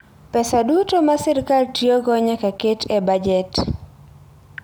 Pesa duto ma sirkal tiyogo nyaka ket e bajet.